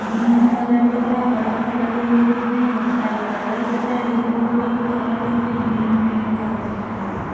green colour दिख रहा है बल्फ लगे हुए दिख रहे है बहुत सारे कलर दिख रहे है दीवारों पे भी कलर दिख रहे है ग्रीन पिंक आसमानी कलर --